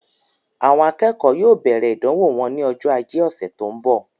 Àwọn akẹ́kọ̀ọ́ yóò bẹ̀rẹ̀ ìdánwò wọn ní ọjọ́ ajé ọ̀sẹ̀ tó ń bọ̀.